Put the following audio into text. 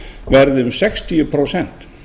verði um sextíu prósent